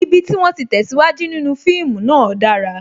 Ibi tí wón ti tesiwaju nínú fíìmù náà dára